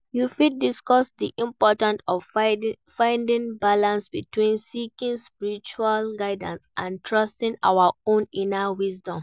You fit discuss di importance of finding balance between seeking spiritual guidance and trusting our own inner wisdom.